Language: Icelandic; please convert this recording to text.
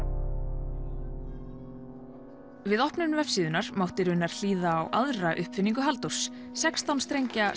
við opnun vefsíðunnar mátti raunar hlýða á aðra uppfinningu Halldórs sextán strengja